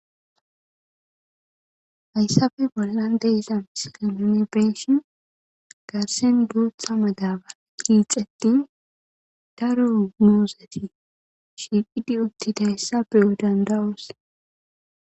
Haysappe bolla diza missile nuni beyishin garsan gutha madabaray yic'etini daro muzeti shiqidi utidaysa shiqidi uttidaysa beyo danda'os